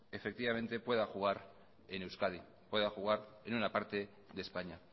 pueda jugar en euskadi pueda jugar en una parte de españa